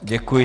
Děkuji.